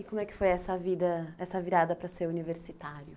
E como é que foi essa vida, essa virada para ser universitário?